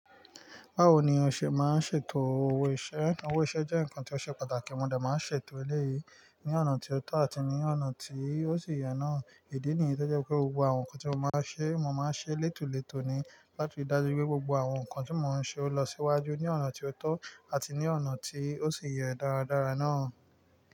Báwo ni o ṣe máa ń ṣètò owó iṣẹ́? Owó iṣẹ́ jẹ́ nǹkan tí ó ṣe pàtàkì, mo dá máa ń ṣètò eléyìí ní ọ̀nà tí ó tọ́ àti ní ọ̀nà tí ó sì yẹ náà. Ìdí nìyí tó jẹ́ pé gbogbo àwọn nǹkan tí mo bá ṣe, mo máa ń ṣe létòletò ni láti ríi dájú pé gbogbo àwọn nǹkan tí mo ń ṣe ó lọ síwájú ní ọ̀nà tí ó tọ́ àti ní ọ̀nà tí ó sì yẹ dáradára náà.